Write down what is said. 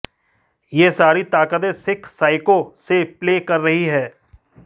यह सारी ताकतें सिख साइको से प्ले कर रही हैं